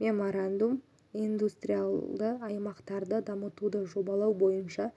меморандум индустриалды аймақтарды дамытуды жобалау бойынша